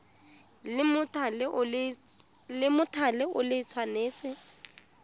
la mothale o le tshwanetse